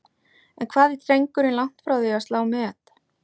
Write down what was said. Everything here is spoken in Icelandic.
En hvað er drengurinn langt frá því að slá met?